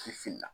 I filila